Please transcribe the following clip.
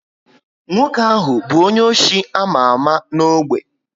Nwoke ahụ bu onye ọchị ama ámá n' ogbe